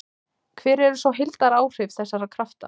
Hver eru svo heildaráhrif þessara krafta?